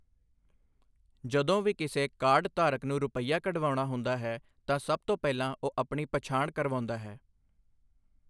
ਜਦੋਂ ਵੀ ਕਿਸੇ ਕਾਰਡਧਾਰਕ ਨੂੰ ਰੁਪੱਈਆ ਕਢਵਾਉਣਾ ਹੁੰਦਾ ਹੈ ਤਾਂ ਸਭ ਤੋਂ ਪਹਿਲਾਂ ਉਹ ਆਪਣੀ ਪਛਾਣ ਕਰਵਾਉਂਦਾ ਹੈ।